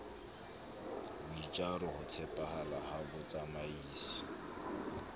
boitjaro ho tshepahala ha botsamaisi